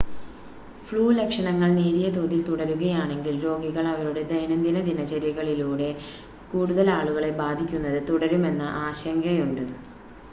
flu ലക്ഷണങ്ങൾ നേരിയ തോതിൽ തുടരുകയാണെങ്കിൽ രോഗികൾ അവരുടെ ദൈനംദിന ദിനചര്യകളിലൂടെ കൂടുതൽ ആളുകളെ ബാധിക്കുന്നത് തുടരുമെന്ന ആശങ്കയുണ്ട്